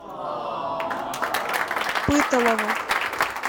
пыталово